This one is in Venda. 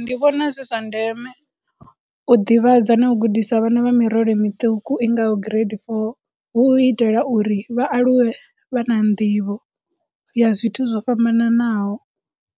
Ndi vhona zwi zwa ndeme u ḓivhadza na u gudisa vhana vha mirole miṱuku i ngaho grade four, hu u itela uri vha aluwe vha na nḓivho ya zwi zwithu zwo fhambananaho,